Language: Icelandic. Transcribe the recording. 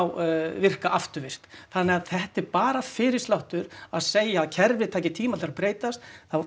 virka afturvirkt þannig að þetta er bara fyrirsláttur að segja að kerfið taki tíma til að breytast